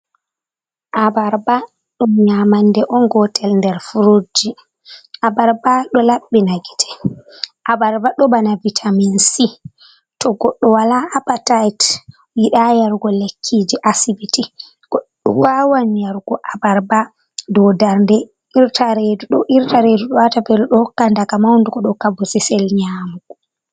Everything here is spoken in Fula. Abarba dum nyamande on gotel nder frutji Abarba ɗo labbina gite, Abarba ɗo bana bitaminsi to goɗɗo wala apatit yida yarugo lekkiji asibiti goɗɗo wawan yarugo Abarba dodarnde redo irta redu ɗo wata velo ɗo hokka daga maundugo ɗo hokka bosesel nyamugo.